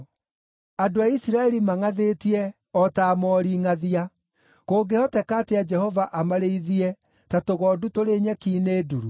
Andũ a Isiraeli mangʼathĩtie o ta moori ngʼathia. Kũngĩhoteka atĩa Jehova amarĩithie ta tũgondu tũrĩ nyeki-inĩ nduru?